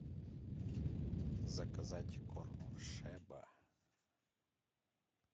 заказать корм шеба